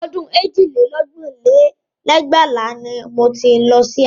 Ọdún èjì lé lógún lé lẹ́gbàá ni mo ti lọ sí Àkúrẹ́